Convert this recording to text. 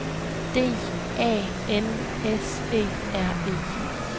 D A N S E R E